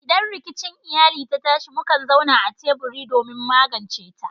Idan rikici iyali ta tashi, mukan zauna a teburi don magance ta.